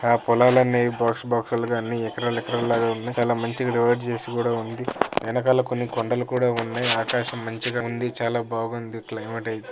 ఆ పొలాలన్నీ బాక్స్ లు బాక్స్ లు గా అన్ని ఎకరాలు ఎకరాలు లాగా ఉన్నాయి. చాలా మంచిగా డివైడ్ చేసి కూడా ఉంది .ఎనకల కొండలు కూడా ఉన్నాయి. ఆకాశం మంచిగా ఉంది చాలా బాగుంది. క్త్లెమేట్ ఐతే.